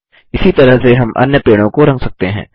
इसी तरह से हम अन्य पेड़ों को रंग सकते हैं